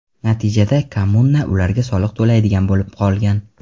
Natijada kommuna ularga soliq to‘laydigan bo‘lib qolgan.